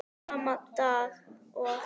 Sama dag og